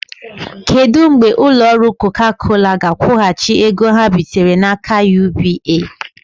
Kedụ mgbe ụlọ ọrụ Coca Cola ga-akwụghachi ego ha bitere n'aka UBA?